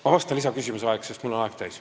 Ma vastan lisaküsimuse all, sest mul on aeg täis.